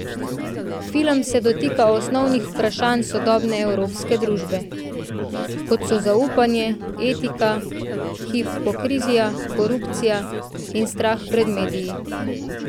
Film se dotika osnovnih vprašanj sodobne evropske družbe, kot so zaupanje, etika, hipokrizija, korupcija in strah pred mediji.